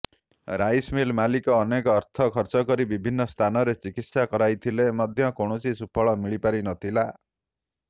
rice mill ମାଲିକ ଅନେକ ଅର୍ଥ ଖର୍ଚ୍ଚକରି ବିଭିନ୍ନ ସ୍ଥାନରେ ଚିକିତ୍ସା କରାଇଥିଲେ ମଧ୍ୟ କୌଣସି ସୁଫଳ ମିଳିପାରି ନଥିଲା